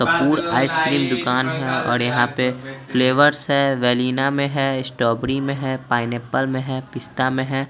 Kapoor ice cream दुकान है और यहाँं पे फ्लेवरस है वेलिना में है स्ट्रॉबरी में है पाइनएप्पल में है पिस्ता में है।